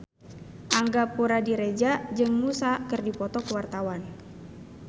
Angga Puradiredja jeung Muse keur dipoto ku wartawan